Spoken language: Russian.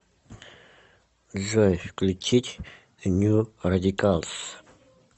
джой включить нью радикалс